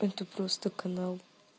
это просто канал